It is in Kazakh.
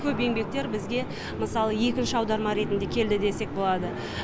көп еңбектер бізге мысалы екінші аударма ретінде келді десек болады